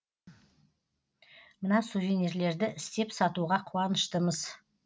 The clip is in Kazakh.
мына сувенирлерді істеп сатуға қуаныштымыз